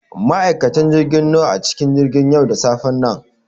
Ma'aikatan jirgi nawa ne a cikin jirgin yau da safen nan?